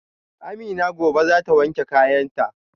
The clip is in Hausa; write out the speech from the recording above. Amina gobe zata wanke kayanta